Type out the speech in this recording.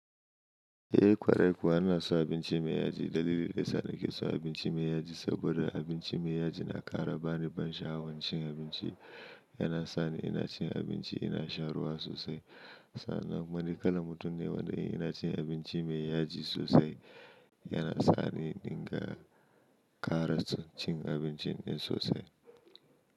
Eh kwarai kuwa ina son abinci mai yaji. Dalili daya sa na ke son abinci mai yaji saboda abinci mai yaji na ƙara bani ban sha'awan cin abinci. Yana sani ina cin abinci ina shan ruwa sosai. Sannan ni kalan mutum ne wanda yana cin abinci mai yaji sosai. Yana sani dinga ƙara cin abincin in sosai.